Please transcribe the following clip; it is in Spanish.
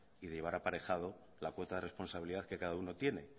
y de llevar aparejado la cuota de responsabilidad que cada uno tiene